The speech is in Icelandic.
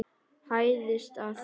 Hæðist að þér.